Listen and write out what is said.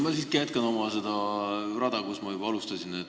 Ma siiski jätkan oma rada, seda, kust ma alustasin.